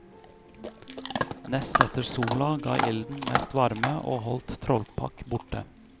Nest etter sola ga ilden mest varme og holdt trollpakk borte.